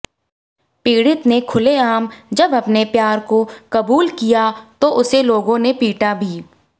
पीड़ित ने खुलआम जब अपने प्यार को कुबूल किया तो उसे लोगों ने पीटा भी